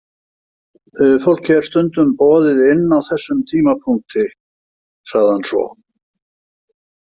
Fólki er stundum boðið inn á þessum tímapunkti, sagði hann svo.